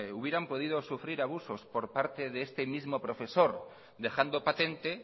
hubieran podido sufrir abusos por parte de este mismo profesor dejando patente